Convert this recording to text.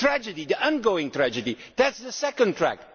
Syria. The tragedy, the ongoing tragedy. That is the second